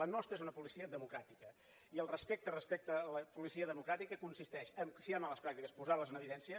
la nostra és una policia democràtica i el respecte respecte a la policia democràtica consisteix que si hi ha males pràctiques posar les en evidència